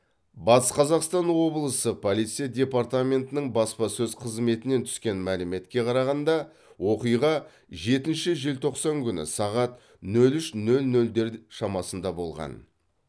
батыс қазақстан облысы полиция департаментінің баспасөз қызметінен түскен мәліметке қарағанда оқиға жетінші желтоқсан күні сағат нөл үш нөл нөлдер шамасында болған